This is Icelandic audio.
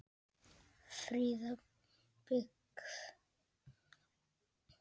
Fríða byggð.